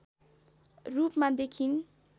रूपमा देखिइन्